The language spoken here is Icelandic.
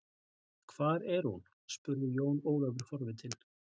Hvar er hún, spurði Jón Ólafur forvitinn.